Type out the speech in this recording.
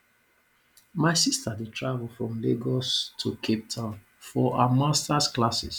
my sister dey travel from lagos to capetown for her masters classes